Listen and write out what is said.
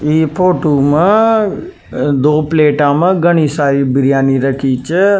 ई फोटो मा दो प्लेटा मा घनी सारी बिरयानी रखी छ।